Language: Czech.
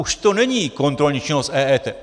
Už to není kontrolní činnost EET.